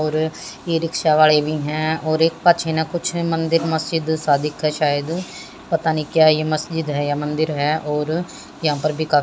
और e rickshaw वाली भी है और एक कचना कुछ है मंदिर-मस्जिद शादी का शायद पता नहीं क्या यह मस्जिद है या मंदिर है और यहां पर भी कर--